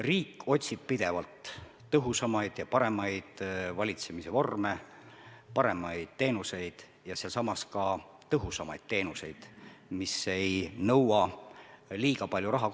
Riik otsib pidevalt tõhusamaid ja paremaid valitsemise vorme, paremaid teenuseid ja ka tõhusamaid teenuseid, mis ei nõua liiga palju raha.